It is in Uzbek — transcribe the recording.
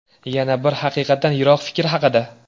Yana bir haqiqatdan yiroq fikr haqida.